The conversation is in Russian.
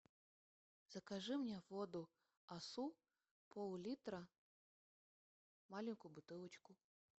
закажи мне воду асу поллитра маленькую бутылочку